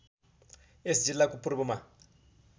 यस जिल्लाको पूर्वमा